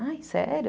Ah, sério?